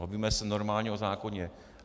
Bavíme se normálně o zákoně.